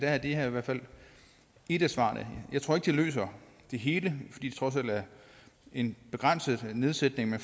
er det her i hvert fald et af svarene jeg tror ikke det løser det hele fordi det trods alt er en begrænset nedsættelse der